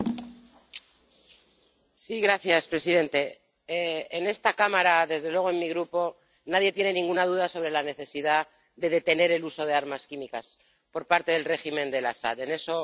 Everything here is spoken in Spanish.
Señor presidente, en esta Cámara, desde luego en mi Grupo, nadie tiene ninguna duda sobre la necesidad de detener el uso de armas químicas por parte del régimen de Al Asad, en eso tiene usted todo nuestro apoyo.